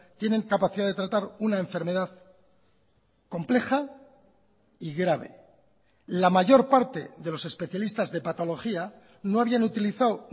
tienen capacidad de tratar una enfermedad compleja y grave la mayor parte de los especialistas de patología no habían utilizado